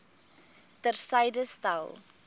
ter syde stel